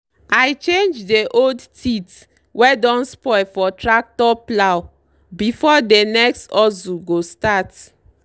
i change dey old teeth wey don spoil for tractor plough before dey next hustle go start.